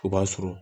O b'a sɔrɔ